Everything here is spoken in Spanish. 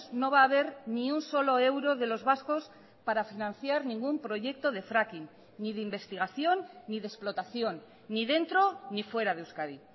no va a haber ni un solo euro de los vascos para financiar ningún proyecto de fracking ni de investigación ni de explotación ni dentro ni fuera de euskadi